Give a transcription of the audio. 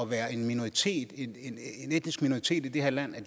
være en minoritet en etnisk minoritet i det her land